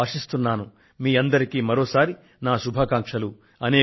దీపావళి సందర్భంగా మీకందరికీ ఇవే నా శుభాకాంక్షలు